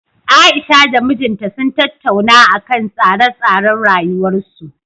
Aisha da mijinta sun tattauna akan tsare-tsaren rayuwarsu